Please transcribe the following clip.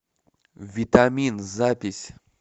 витамин запись